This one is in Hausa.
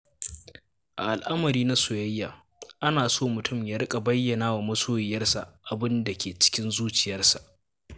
A al'amari na soyayya, ana so mutum ya riƙa bayyana wa masoyiyarsa abin da ke cikin zuciyarsa.